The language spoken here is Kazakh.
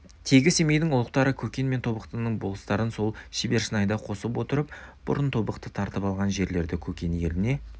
тегі семейдің ұлықтары көкен мен тобықтының болыстарын сол шербешнайда қосып отырып бұрын тобықты тартып алған жерлерді көкен еліне